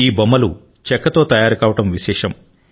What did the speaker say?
ఈ బొమ్మలు చెక్కతో తయారు కావడం విశేషం